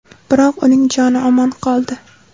Biroq uning joni omon qoldi.